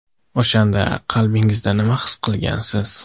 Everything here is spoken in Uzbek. O‘shanda qalbingizda nimani his qilgansiz?